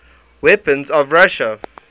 weapons of russia